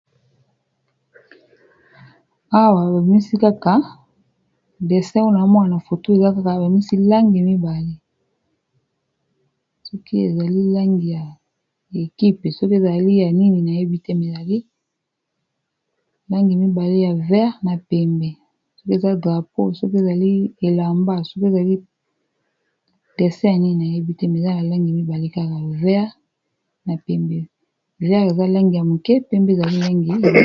Awa babimisi kaka dessin oyo nao mona na foto eza kaka bimisi langi mibale soki ezali langi ya ekipe soki ezali ya nini na yebite me eyali langi mibale ya vere na pembe soki eza drapau soki ezali elamba soki ezali dessin ya nini na yebi te mizali ya langi mibale kaka ver na pembe vere eza langi ya moke pembe ezali langi.